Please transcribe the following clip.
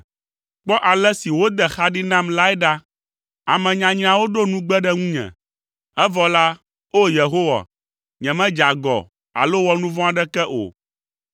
Kpɔ ale si wode xa ɖi nam lae ɖa! Ame nyanyrawo ɖo nugbe ɖe ŋunye, evɔ la, O Yehowa, nyemedze agɔ, alo wɔ nu vɔ̃ aɖeke o.